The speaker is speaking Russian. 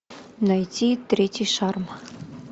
найти третий шарм